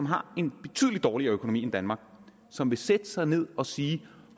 har en betydelig dårligere økonomi end danmark som vil sætte sig ned og sige